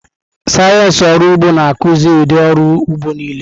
Sayensị ọrụ ụgbọ na-akụzi ụdị ọrụ ugbo niile.